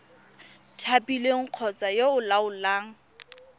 thapilweng kgotsa yo o laolang